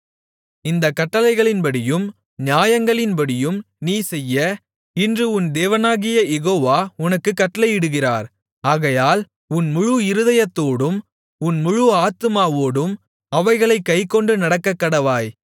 இந்தக் கட்டளைகளின்படியும் நியாயங்களின்படியும் நீ செய்ய இன்று உன் தேவனாகிய யெகோவா உனக்குக் கட்டளையிடுகிறார் ஆகையால் உன் முழு இருதயத்தோடும் உன் முழு ஆத்துமாவோடும் அவைகளைக் கைக்கொண்டு நடக்கக்கடவாய்